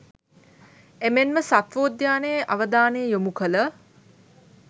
එමෙන්ම සත්වෝද්‍යානයේ අවධානය යොමු කළ